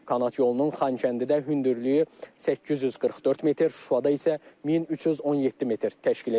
Kanat yolunun Xankəndidə hündürlüyü 844 metr, Şuşada isə 1317 metr təşkil edəcək.